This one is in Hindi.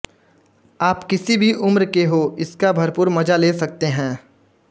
आप किसी भी उम्र के हों इसका भरपूर मजा ले सकते हैं